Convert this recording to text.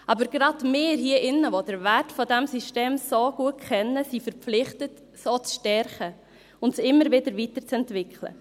Aber gerade wir hier drinnen, welche den Wert dieses Systems so gut kennen, sind verpflichtet, dieses auch zu stärken und es immer wieder weiterzuentwickeln.